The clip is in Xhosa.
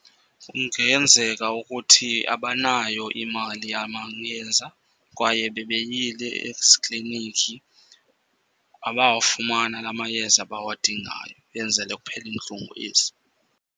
Kungenzeka ukuthi abanayo imali yamayeza. Kwaye bebeyile ezikliniki, abawafumana la mayeza bawadingayo, kwenzele kuphele iintlungu ezi.